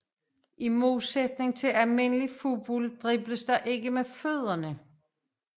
I modsætning til almindelig fodbold dribles der ikke med fødderne